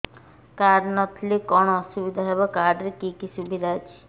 card ନହେଲେ କଣ ଅସୁବିଧା ହେବ କାର୍ଡ ରେ କି କି ସୁବିଧା ଅଛି